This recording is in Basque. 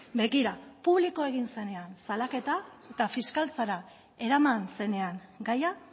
begira publikoa egin zenean salaketa eta fiskaltzara eraman zenean gaia